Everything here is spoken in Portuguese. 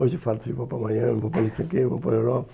Hoje eu falo assim, vou para Miami, vou para não sei o quê, vou para Europa.